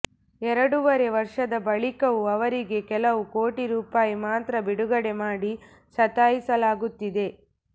ಎರಡೂವರೆ ವರ್ಷದ ಬಳಿಕವೂ ಅವರಿಗೆ ಕೆಲವು ಕೋಟಿ ರೂಪಾಯಿ ಮಾತ್ರ ಬಿಡುಗಡೆ ಮಾಡಿ ಸತಾಯಿಸಲಾಗುತ್ತಿದೆ